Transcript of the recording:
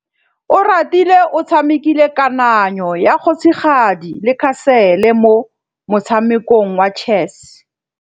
Oratile o tshamekile kananyô ya kgosigadi le khasêlê mo motshamekong wa chess.